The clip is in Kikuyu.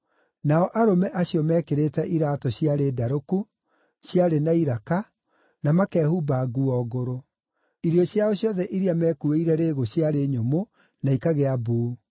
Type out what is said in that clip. Nao arũme acio meekĩrĩte iraatũ ciarĩ ndarũku, ciarĩ na iraka, na makehumba nguo ngũrũ. Irio ciao ciothe iria meekuuĩire rĩĩgu ciarĩ nyũmũ na ikagĩa mbuu.